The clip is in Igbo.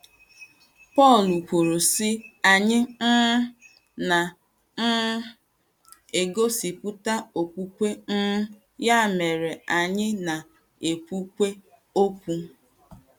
Pọl kwuru, sị:: “ Anyị um... na - um egosipụta okwukwe, um ya mere anyị na - ekwukwa okwu. ”